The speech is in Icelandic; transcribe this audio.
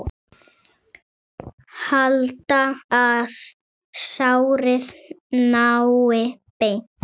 Halda, að sárið nái beini.